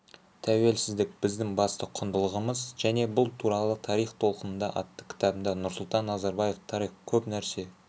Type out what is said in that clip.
тәуелсіздік біздің басты құндылығымыз және бұл туралы тарих толқынында атты кітабында нұрсұлтан назарбаев тарих көп нәрсе